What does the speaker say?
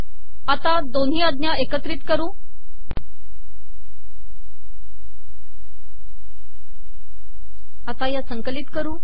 या दोनही आजा एकितत कर